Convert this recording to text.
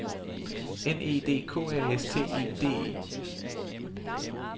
N E D K A S T E D E